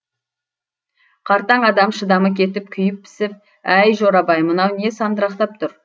қартаң адам шыдамы кетіп күйіп пісіп әй жорабай мынау не сандырақтап тұр